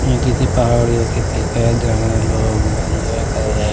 ये किसी पहाड़ियों की पिक ही जहाँ लोग एन्जॉय कर रहे--